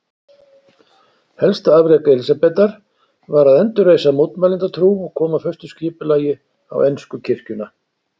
Helsta afrek Elísabetar var að endurreisa mótmælendatrú og koma föstu skipulagi á ensku kirkjuna.